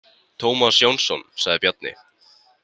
Tómas Jónsson, sagði Bjarni.